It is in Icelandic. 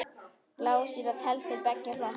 Blásýra telst til beggja flokka.